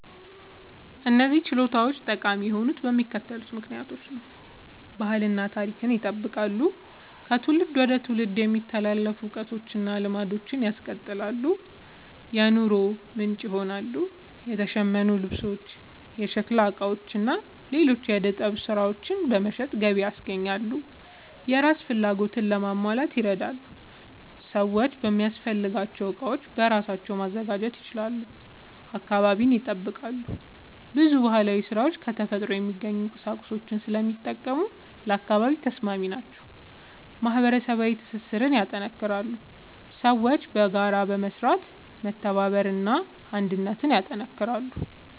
እነዚህ ችሎታዎች ጠቃሚ የሆኑት በሚከተሉት ምክንያቶች ነው፦ ባህልን እና ታሪክን ይጠብቃሉ – ከትውልድ ወደ ትውልድ የሚተላለፉ እውቀቶችን እና ልማዶችን ያስቀጥላሉ። የኑሮ ምንጭ ይሆናሉ – የተሸመኑ ልብሶች፣ የሸክላ ዕቃዎች እና ሌሎች የዕደ ጥበብ ሥራዎች በመሸጥ ገቢ ያስገኛሉ። የራስን ፍላጎት ለማሟላት ይረዳሉ – ሰዎች የሚያስፈልጋቸውን ዕቃዎች በራሳቸው ማዘጋጀት ይችላሉ። አካባቢን ይጠብቃሉ – ብዙ ባህላዊ ሥራዎች ከተፈጥሮ የሚገኙ ቁሳቁሶችን ስለሚጠቀሙ ለአካባቢ ተስማሚ ናቸው። ማህበረሰባዊ ትስስርን ያጠናክራሉ – ሰዎች በጋራ በመስራት መተባበርን እና አንድነትን ያጠናክራሉ።